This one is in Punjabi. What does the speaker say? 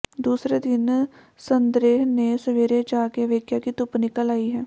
ਦੂਸਰੇ ਦਿਨ ਸਤੇਂਦ੍ਰ ਨੇ ਸਵੇਰੇ ਜਾਗ ਕੇ ਵੇਖਿਆ ਕਿ ਧੁੱਪ ਨਿਕਲ ਆਈ ਹੈ